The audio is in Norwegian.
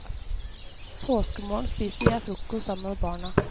Påskemorgen spiser jeg frokost sammen med barna.